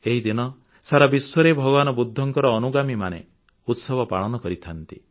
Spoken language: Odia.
ଏହିଦିନ ସାରା ବିଶ୍ୱରେ ଭଗବାନ ବୁଦ୍ଧଙ୍କ ଅନୁଗାମୀମାନେ ଉତ୍ସବ ପାଳନ କରିଥାନ୍ତି